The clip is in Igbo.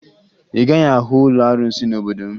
Ị gaghị ahụ ụlọ arụsị n'obodo m